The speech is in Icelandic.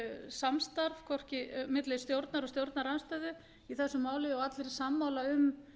samstarf milli stjórnar og stjórnarandstöðu í þessu máli og allir voru sammála um